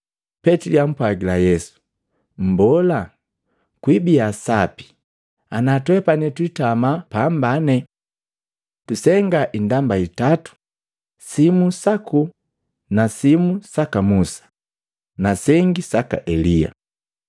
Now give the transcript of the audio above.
Petili ampwagila Yesu, “Mbola, kwibia sapi ana twepani twitama apambane! Tusengaa indamba itatu simu saku na simu saka Musa, na sengi saka Elia.”